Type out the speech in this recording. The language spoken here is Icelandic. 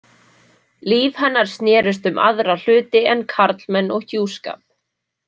Líf hennar snerist um aðra hluti en karlmenn og hjúskap.